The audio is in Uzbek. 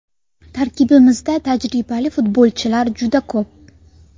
Tarkibimizda tajribali futbolchilar juda ko‘p.